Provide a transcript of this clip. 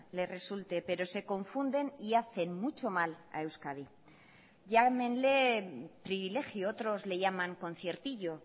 le resulte pero se confunden y hacen mucho mal a euskadi llámenle privilegio otros le llaman conciertillo